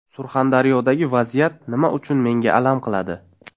Surxondaryodagi vaziyat nima uchun menga alam qiladi?